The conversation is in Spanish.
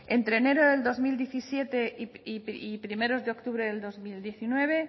entre enero de dos mil diecisiete y primeros de octubre de dos mil diecinueve